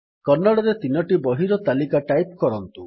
କନ୍ନଡ଼ରେ ୩ଟି ବହିର ତାଲିକା ଟାଇପ୍ କରନ୍ତୁ